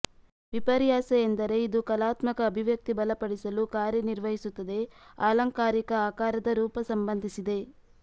ವಿಪರ್ಯಾಸವೆಂದರೆ ಇದು ಕಲಾತ್ಮಕ ಅಭಿವ್ಯಕ್ತಿ ಬಲಪಡಿಸಲು ಕಾರ್ಯನಿರ್ವಹಿಸುತ್ತದೆ ಆಲಂಕಾರಿಕ ಆಕಾರದ ರೂಪ ಸಂಬಂಧಿಸಿದೆ